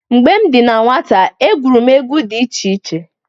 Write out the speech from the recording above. Mgbe m dị na nwata egwuru m egwu dị iche iche.